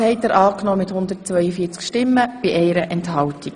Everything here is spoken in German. Sie haben Kapitel IV angenommen.